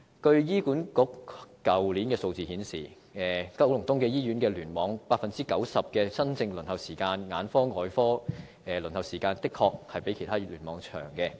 據醫管局去年的數字顯示，九龍東醫院聯網 90% 的新症輪候時間、眼科和外科輪候時間的確較其他聯網為長。